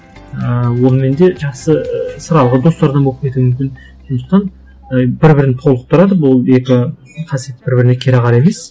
ы онымен де жақсы достардан болып кетуі мүмкін сондықтан і бір бірін толықтырады бұл екі қасиет бір біріне кереғар емес